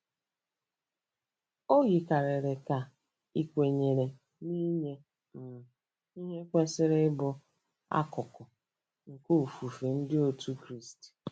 O yikarịrị ka ị kwenyere na inye um ihe kwesịrị ịbụ akụkụ nke ofufe Ndị Otù Kristi.